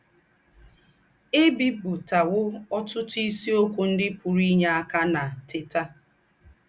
È bìpùtàwò ọ́tùtù ísìókwọ̀ ńdị́ pùrù ínyè ákà ná Teta!